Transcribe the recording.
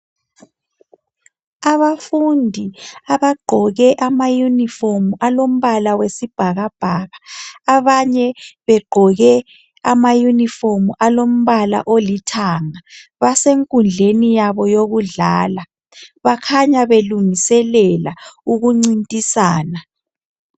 Abafundi abagqoke amayunifomu alombala wesibhakabhaka, abanye begqoke amayunifomu alombala olithanga, basenkundleni yabo yokudlala, bakhanya belungiselela ukuncintisana.